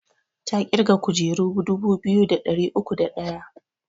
Ta ƙirga kujeru dubu biyu da ɗari uku da ɗaya